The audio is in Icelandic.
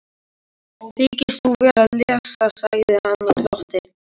Þykist þú vera að lesa, sagði hann og glotti.